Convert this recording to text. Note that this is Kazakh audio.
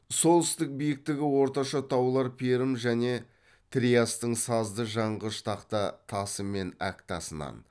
солтүстік биіктігі орташа таулар перім және триастың сазды жанғыш тақта тасы мен әк тасынан